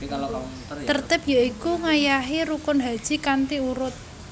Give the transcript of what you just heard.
Tertib ya iku ngayahi rukun haji kanthi urut